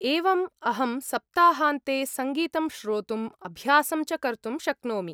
एवम्, अहं सप्ताहान्ते सङ्गीतं श्रोतुम्, अभ्यासं च कर्तुं शक्नोमि।